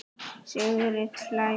Sigrid hlær.